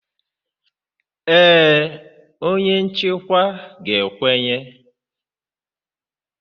Ee, onye nchịkwa ga-ekwenye